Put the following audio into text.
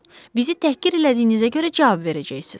Bizi təhqir elədiyinizə görə cavab verəcəksiz.